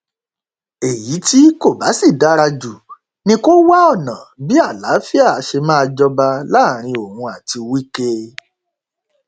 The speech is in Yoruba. èyí tí kò bá sì dára jù ni kó wá ọnà bí àlàáfíà ṣe máa jọba láàrin òun àti wike